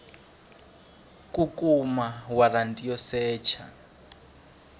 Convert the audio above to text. ku kuma waranti yo secha